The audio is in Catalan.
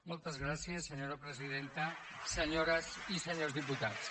moltes gràcies senyora presidenta senyores i senyors diputats